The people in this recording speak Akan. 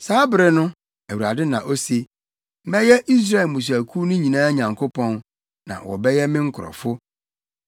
“Saa bere no,” Awurade na ose, “Mɛyɛ Israel mmusuakuw no nyinaa Nyankopɔn, na wɔbɛyɛ me nkurɔfo.”